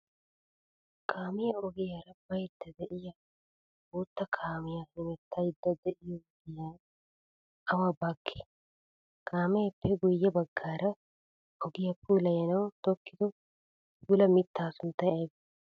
Kaamiyaa ogiyaara bayidda de'iyaa bootta kaamiyaa hemettayidda de'iyoo ginayi awa baggee? Kaameeppe guyye baggaara ogiyaa puulayanawu tokkido puula mittaa sunttayi ayibee?